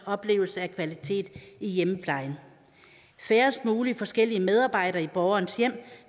oplevelse af kvalitet i hjemmeplejen færrest mulige forskellige medarbejdere i borgerens hjem